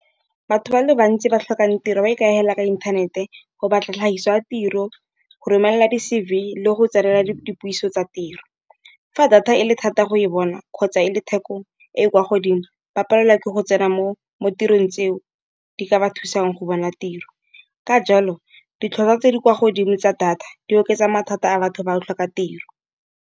Batho ba le bantsi ba tlhokang tiro ba ikagela ka inthanete. Go batla tlhagiso ya tiro, go romelela di-C_V le go tsenela dipuiso tsa tiro. Fa data e le thata go e bona kgotsa e le theko e e kwa godimo ba palelwa ke go tsena mo mo tirong tseo, di ka ba thusang go bona tiro. Ka jalo ditlhatlhwa tse di kwa godimo tsa data di oketsa mathata a batho ba go tlhoka tiro.